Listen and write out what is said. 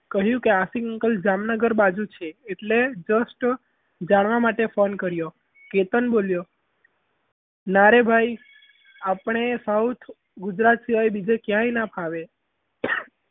કહ્યું કે આશિક uncle જામનગર બાજુ છે એટલે just જાણવા માટે phone કર્યો કેતન બોલ્યો નારી ભાઈ આપણે સાવ ગુજરાત સિવાય બીજે કાંઈ ક્યાંય ના ફાવે.